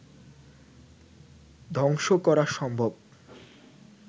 ধ্বংস করা সম্ভব